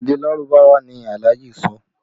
Èdè Lárúbáwá ni Alhaji sọ